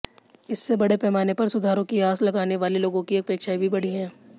इससे बड़े पैमाने पर सुधारों की आस लगाने वाले लोगों की अपेक्षाएं भी बढ़ी हैं